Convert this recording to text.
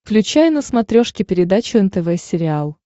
включай на смотрешке передачу нтв сериал